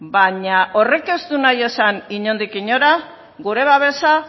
baina horrek ez du nahi esan inondik inora gure babesa